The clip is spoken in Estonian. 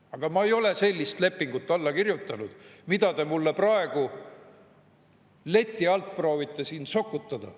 Aga ma ei ole alla kirjutanud sellisele lepingule, mida te mulle praegu leti alt proovite siin sokutada.